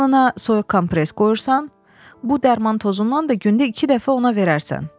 alnına soyuq kompress qoyursan, bu dərman tozundan da gündə iki dəfə ona verərsən.